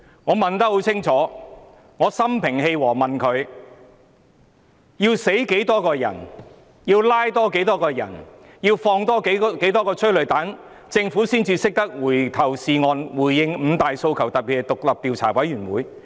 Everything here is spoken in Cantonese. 我問得很清楚，我心平氣和地問他，要死多少人、要拘捕多少人、要再施放多少枚催淚彈，政府才懂得回頭是岸，回應五大訴求，特別是成立獨立調查委員會？